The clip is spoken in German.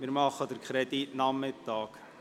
Wir beraten den Kredit am Nachmittag.